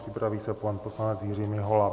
Připraví se pan poslanec Jiří Mihola.